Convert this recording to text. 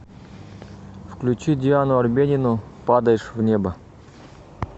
включи диану арбенину падаешь в небо